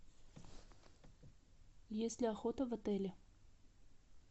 есть ли охота в отеле